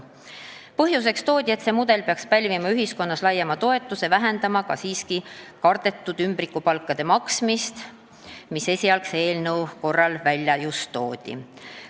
Põhjuseks toodi, et see mudel peaks pälvima ühiskonnas laiema toetuse ja vähendama ka kardetud ümbrikupalkade maksmist, mida esialgse eelnõu korral oli välja toodud.